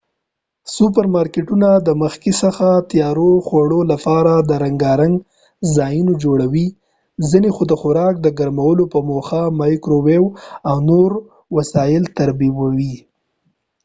سوپر مارکېټونه د مخکې څخه تیارو خوړو لپاره رنګارنګ ځایونه جوړوي ،ځینی خو د خوراک د ګرمولو په موخه مایکرو ويو او نور وسایل ترتیبوي